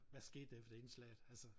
Hvad skete der efter indslaget altså